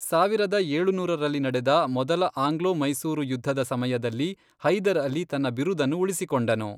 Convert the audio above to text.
ಸಾವಿರದ ಏಳುನೂರರಲ್ಲಿ ನಡೆದ ಮೊದಲ ಆಂಗ್ಲೋ ಮೈಸೂರು ಯುದ್ಧದ ಸಮಯದಲ್ಲಿ ಹೈದರ್ ಅಲಿ ತನ್ನ ಬಿರುದನ್ನು ಉಳಿಸಿಕೊಂಡನು.